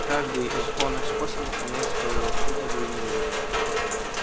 каждый из оных способов имеет свою выгоду и невыгоду